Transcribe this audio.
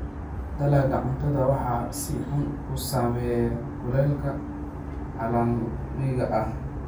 Dalagga cuntada waxaa si xun u saameeya kulaylka caalamiga ah.